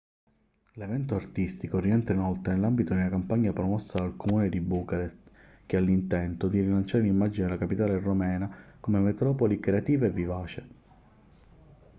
l'evento artistico rientra inoltre nell'ambito di una campagna promossa dal comune di bucarest che ha l'intento di rilanciare l'immagine della capitale romena come metropoli creativa e vivace